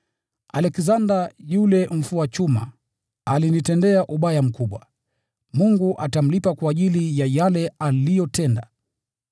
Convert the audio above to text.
Aleksanda yule mfua chuma alinitendea ubaya mkubwa. Bwana atamlipa kwa ajili ya yale aliyotenda.